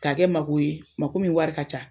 Ka kɛ mako ye, mako min wari ka ca.